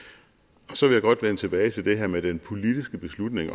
så vil jeg godt vende tilbage til det her med den politiske beslutning i